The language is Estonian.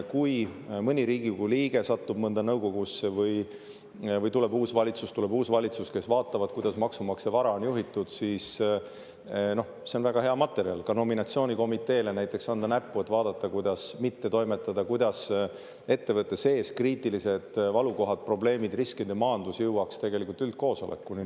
Kui mõni Riigikogu liige satub mõnda nõukogusse või tuleb uus valitsus, kes vaatab, kuidas maksumaksja vara on juhitud, siis see on väga hea materjal ka näiteks nominatsioonikomiteele näppu anda, et vaadata, kuidas mitte toimetada, kuidas ettevõtte sees kriitilised valukohad, probleemid, riskide maandus jõuaks tegelikult üldkoosolekuni.